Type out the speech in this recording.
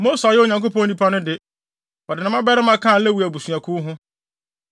Mose a ɔyɛ Onyankopɔn nipa no de, wɔde ne mmabarima kaa Lewi abusuakuw ho.